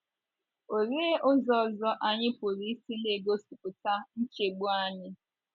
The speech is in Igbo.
Ọ lee ụzọ ọzọ anyị pụrụ isi na - egosipụta nchegbu anyị?